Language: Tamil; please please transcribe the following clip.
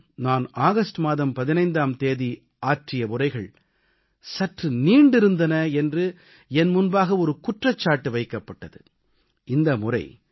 கடந்த 3 முறையும் நான் ஆகஸ்ட் மாதம் 15ஆம் தேதி ஆற்றிய உரைகள் சற்று நீண்டிருந்தன என்று என் முன்பாக ஒரு குற்றச்சாட்டு வைக்கப்பட்டது